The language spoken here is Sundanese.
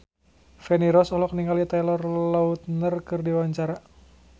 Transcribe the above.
Feni Rose olohok ningali Taylor Lautner keur diwawancara